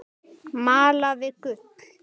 Malaði gull.